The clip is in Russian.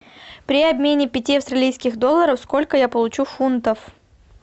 при обмене пяти австралийских долларов сколько я получу фунтов